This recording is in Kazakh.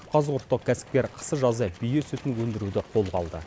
қазығұрттық кәсіпкер қысы жазы бие сүтін өндіруді қолға алды